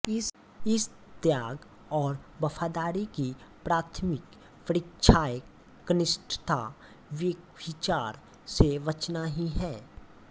इस त्याग और वफादारी की प्राथमिक परीक्षाएकनिष्ठा व्यभिचार से बचना ही है